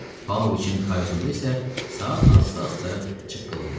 Pauloviçin kayutunda isə saat asta-asta çıqqıldayırdı.